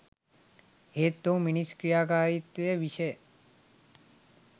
එහෙත් ඔහු මිනිස් ක්‍රියාකාරීත්වය විෂය